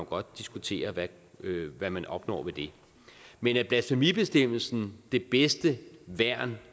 godt diskutere hvad man opnår ved men er blasfemibestemmelsen det bedste værn